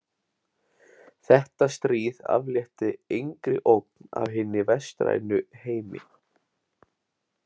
Þetta stríð aflétti engri ógn af hinni vestrænu heimi.